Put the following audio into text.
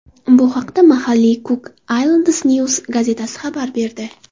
Bu haqda mahalliy Cook Islands News gazetasi xabar berdi .